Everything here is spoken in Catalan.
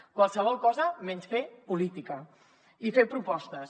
qualsevol cosa menys fer política i fer propostes